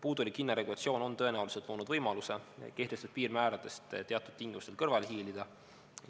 Puudulik hinnaregulatsioon on tõenäoliselt loonud võimaluse kehtestatud piirmääradest teatud tingimustel kõrvale hiilida.